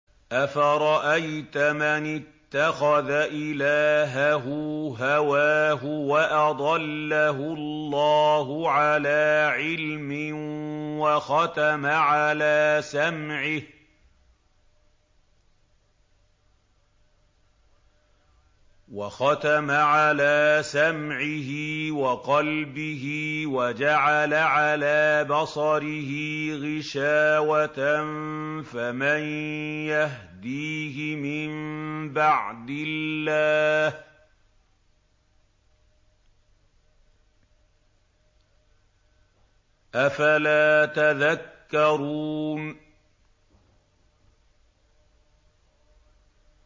أَفَرَأَيْتَ مَنِ اتَّخَذَ إِلَٰهَهُ هَوَاهُ وَأَضَلَّهُ اللَّهُ عَلَىٰ عِلْمٍ وَخَتَمَ عَلَىٰ سَمْعِهِ وَقَلْبِهِ وَجَعَلَ عَلَىٰ بَصَرِهِ غِشَاوَةً فَمَن يَهْدِيهِ مِن بَعْدِ اللَّهِ ۚ أَفَلَا تَذَكَّرُونَ